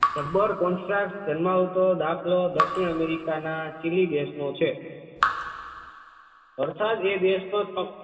જબ્બર contrast ધ્યાનમાં આવતો દાખલો દક્ષિણ america ના ચીલી દેશનો છે વરસાદ એ દેશમાં